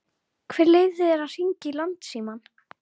Hver leyfði þér að hringja í Landsímann?